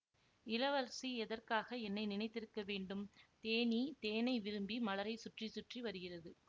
இளவரசி எதற்காக என்னை நினைத்திருக்க வேண்டும் தேனீ தேனை விரும்பி மலரைச் சுற்றி சுற்றி வருகிறது